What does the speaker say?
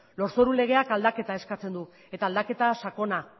lurzoru legeak aldaketa eskatzen du eta aldaketa sakona